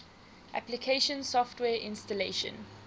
application software installation